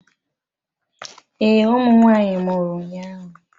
Ee ụmụ nwanyị mụrụ ụnyahụ